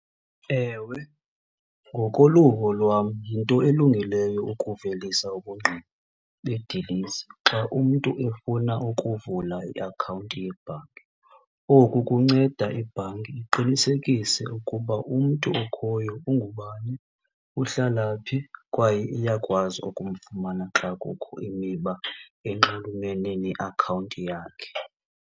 Ewe, ngokoluvo lwam yinto elungileyo ukuvelisa ubungqina bedilesi xa umntu efuna ukuvula iakhawunti yebhanki. Oku kunceda ibhanki iqinisekise ukuba umntu okhoyo ungubani, uhlala phi kwaye iyakwazi ukumfumana xa kukho imiba enxulumene neakhawunti yakhe.